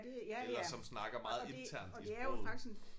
Eller som snakker meget internt i sproget